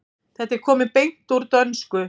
Þetta er komið beint úr dönsku.